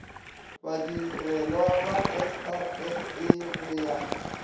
badirelwa ba srsa go ya